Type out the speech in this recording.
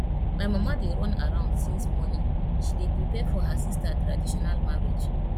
my mama dey run around since morning she dey prepare for her sister traditional marriage